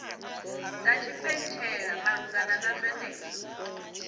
dza tshipentshela malugana na zwenezwo